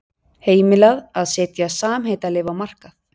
Heimilað að setja samheitalyf á markað